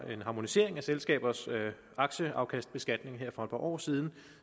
en harmonisering af selskabers aktieafkastsbeskatning her for et par år siden